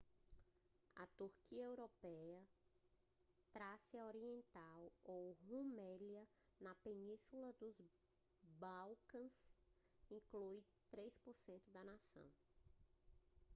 a turquia europeia trácia oriental ou rumélia na península dos balcãs inclui 3% da nação